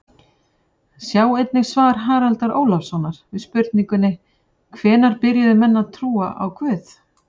Sjá einnig svar Haraldar Ólafssonar við spurningunni Hvenær byrjuðu menn að trúa á guð?